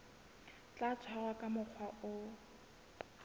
tla tshwarwa ka mokgwa o